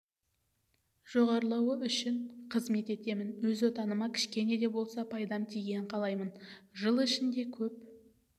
жоғарылауы үшін қызмет етемін өз отаныма кішкене де болса пайдам тигенін қалаймын жыл ішінде көп